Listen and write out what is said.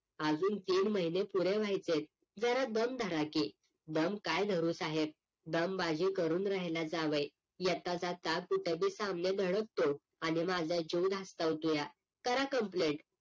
आजून तीन महिने पुरे व्हायचे आहेत जरा दम धरा की दम काय धरू साहेब? दमबाजी करून राहिला जावई येता जाता कुठे बी सामने धडकतो आणि माझा जीव धास्तावतुया करा complain